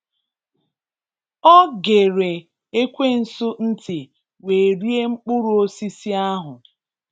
Ọ gere ekwensu ntị wee rie mkpụrụ osisi ahụ